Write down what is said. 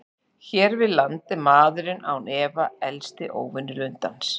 Hér við land er maðurinn án efa helsti óvinur lundans.